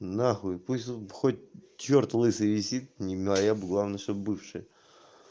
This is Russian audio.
нахуй пусть он хоть чёрт лысый висит не моя главное чтоб бывшая